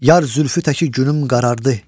Yar zülfü təki günüm qarardı.